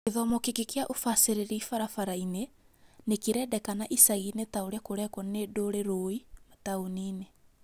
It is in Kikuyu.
Gĩthomo kĩngi gĩa ũbacĩrĩri barabara-inĩ nĩ kĩrendekana icagi-inĩ ta ũrĩa kũrekwo nĩ ndũrĩrũĩ mataũni-inĩ